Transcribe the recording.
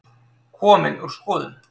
Komin úr skoðun